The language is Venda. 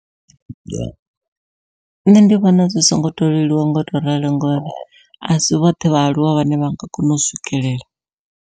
Nṋe ndi vhona zwi songo to leluwa ngau to ralo ngori asi vhoṱhe vhaaluwa vhane vha nga kona u swikelela.